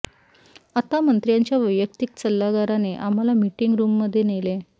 आता मंत्र्याच्या वैयक्तिक सल्लागाराने आम्हाला मीटिंग रूममध्ये नेले